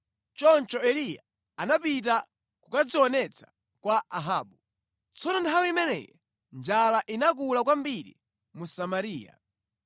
Choncho Eliya anapita kukadzionetsa kwa Ahabu. Tsono nthawi imeneyi njala inakula kwambiri mu Samariya,